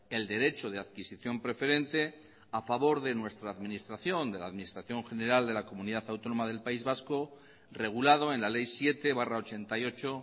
el derecho de adquisición preferente a favor de nuestra administración de la administración general de la comunidad autónoma del país vasco regulado en la ley siete barra ochenta y ocho